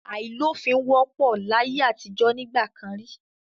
Àìlófin wópò láyé àtijọ́ nígbà kan rí.